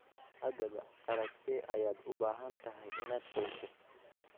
Haddaba qalabkee ayaad u baahan tahay inaad gooyso?